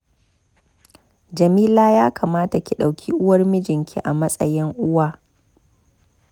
Jamila ya kamata ki ɗauki uwar mijinki a matsayin uwa